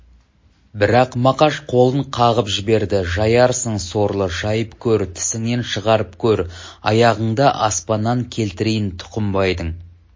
бірақ мақаш қолын қағып жіберді жаярсың сорлы жайып көр тісіңнен шығарып көр аяғыңды аспаннан келтірейін тұқымбайдың